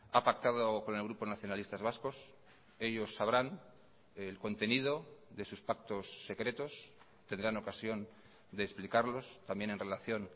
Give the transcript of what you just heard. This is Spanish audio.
ha pactado con el grupo nacionalistas vascos ellos sabrán el contenido de sus pactos secretos tendrán ocasión de explicarlos también en relación